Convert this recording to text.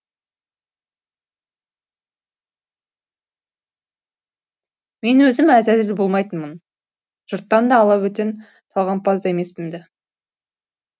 мен өзім әзәзіл болмайтынмын жұрттан алабөтен талғампаз да емеспін ді